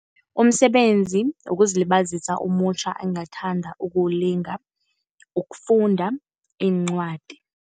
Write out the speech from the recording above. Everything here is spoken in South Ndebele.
Umsebenzi wokuzilibazisa omutjha engathanda ukuwulinga kufunda iincwadi.